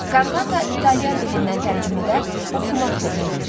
Kantata İtalyan dilindən tərcümədə oxumaq deməkdir.